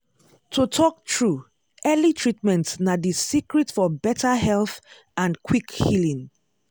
to talk true early treatment na the secret for better health and quick healing.